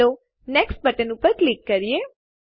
ચાલો next button ઉપર click કરીએ